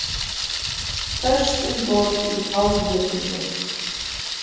Föst um borð í fárviðri